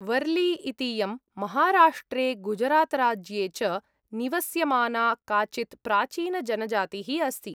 वर्ली इतीयं माहाराष्ट्रे गुजरातराज्ये च निवस्यमाना काचित् प्राचीनजनजातिः अस्ति।